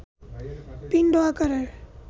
পিণ্ড আকারে